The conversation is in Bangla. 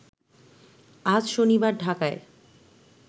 আজ শনিবার ঢাকায়